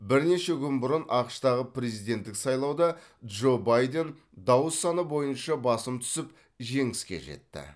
бірнеше күн бұрын ақш тағы президенттік сайлауда джо байден дауыс саны бойынша басым түсіп жеңіске жетті